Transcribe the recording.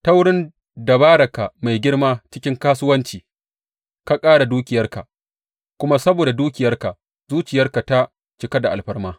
Ta wurin dabararka mai girma cikin kasuwanci ka ƙara dukiyarka, kuma saboda dukiyarka zuciyarka ta cika da alfarma.